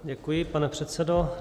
Děkuji, pane předsedo.